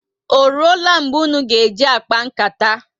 Oruola mgbe ụnụ ji akpa nkata?